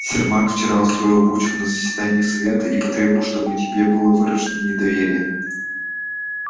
сермак вчера устроил бучу на заседании совета и потребовал чтобы тебе было выражено недоверие